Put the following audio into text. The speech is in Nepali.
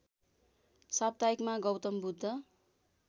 साप्ताहिकमा गौतम बुद्ध